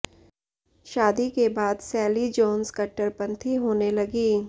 शादी के बाद सैली जोन्स कट्टरपंथी होने लगी